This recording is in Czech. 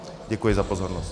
Děkuji za pozornost.